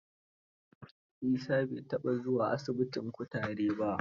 Isa bai taɓa zuwa asibitin kutar ba.